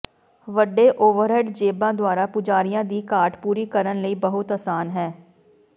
ਵੱਡੇ ਓਵਰਹੈੱਡ ਜੇਬਾਂ ਦੁਆਰਾ ਪੁਜਾਰੀਆਂ ਦੀ ਘਾਟ ਪੂਰੀ ਕਰਨ ਲਈ ਬਹੁਤ ਆਸਾਨ ਹੈ